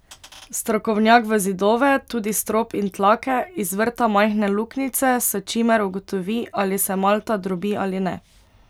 Strokovnjak v zidove, tudi strop in tlake, izvrta majhne luknjice, s čimer ugotovi, ali se malta drobi ali ne.